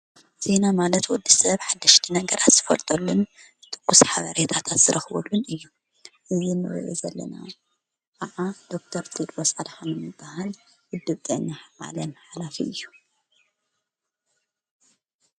ዜና ማለት ወዲ ሰብ ሓደሽቲ ነገራት ዝፈልጠሉን ትኩስ ሓበሬታታትን ዝረክበሉን እዩ። እዚ እንሪኦ ዘለና ካዓ ዶክተር ቴድሮስ ኣድሓኖም ይባሃል ናይ ውድብ ጥዕና ዓለም ሓላፊ እዩ።